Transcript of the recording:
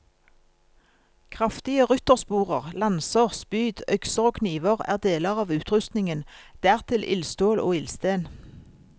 Kraftige ryttersporer, lanser, spyd, økser og kniver er deler av utrustningen, dertil ildstål og ildsten.